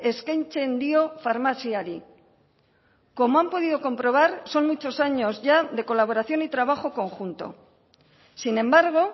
eskaintzen dio farmaziari como han podido comprobar son muchos años ya de colaboración y trabajo conjunto sin embargo